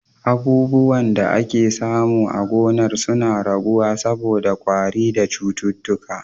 Abubuwan da ake samu a gonar suna raguwa saboda kwari da cututtuka.